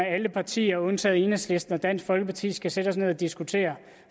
alle partier undtagen enhedslisten og dansk folkeparti skal sætte os ned og diskutere